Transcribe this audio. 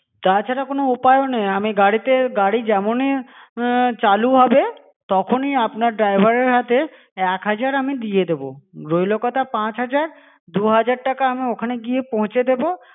তা ছাড়া কোনো উপায়ও নেই আমি গাড়িতে গাড়ি যেমনই উমম চালু হবে তখনই আপনার driver এর হাতে এক হাজার আমি দিয়ে দেব, রইলো কত পাঁচ হাজার দু হাজার আমি ঐখানে গিয়ে পৌঁছে দেব